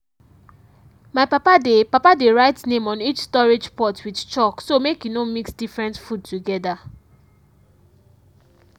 my papa dey papa dey write name on each storage pot with chalk so make e no mix different food together.